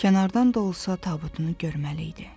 kənardan da olsa tabutunu görməli idi.